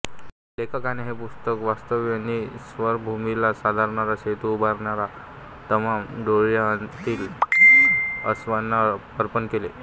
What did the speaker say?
लेखकाने हे पुस्तक वास्तव नि स्वप्नभूमीला सांधणारा सेतू उभारणाऱ्या तमाम डोळियाआंतील आसवांना अर्पण केले आहे